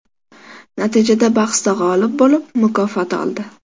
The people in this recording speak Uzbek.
Natijada bahsda g‘olib bo‘lib, mukofot oldi.